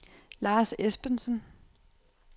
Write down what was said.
Lars Esbensen